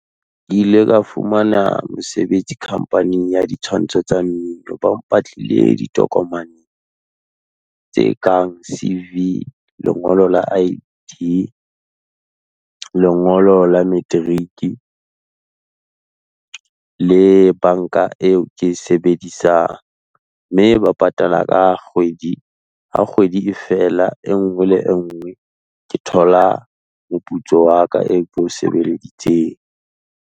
Ke ile ka fumana mosebetsi company-eng ya ditshwantsho tsa mmino, ba mpatlile ditokomane, tse kang C_V, lengolo la I_D, lengolo la matric, le banka eo ke sebedisang. Mme ba patala ka kgwedi, ha kgwedi e feela e nngwe le engwe, ke thola moputso wa ka eo koe o sebelleditseng.